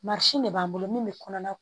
de b'an bolo min bɛ kɔnɔna